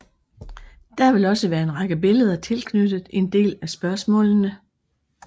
Der vil også være en række billeder tilknyttet en del af spørgsmålene